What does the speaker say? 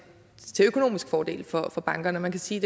økonomisk fordel for for bankerne man kan sige